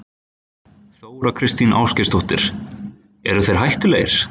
Þóra Kristín Ásgeirsdóttir: Eru þeir hættulegir?